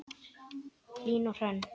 Hlín og Hrönn.